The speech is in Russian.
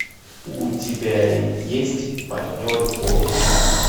у тебя есть партнеры по жизни